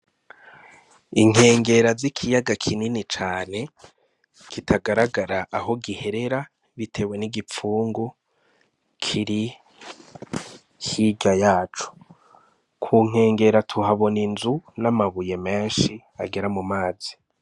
Inkengera z'ikiyaga kinini cane kitagaragara aho giherera bitewe n' igipfungu kiri hirya yaco, ku nkengera tuhabona inzu n' amabuye menshi agera mu mazi.